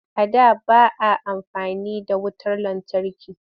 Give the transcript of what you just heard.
A da ba a amfani da wutar lantarki